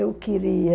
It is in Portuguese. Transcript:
Eu queria...